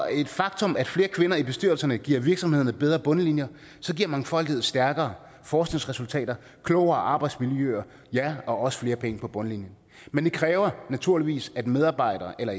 er et faktum at flere kvinder i bestyrelserne giver virksomhederne bedre bundlinjer så giver mangfoldighed stærkere forskningsresultater klogere arbejdsmiljøer og ja og også flere penge på bundlinjen men det kræver naturligvis at medarbejdere eller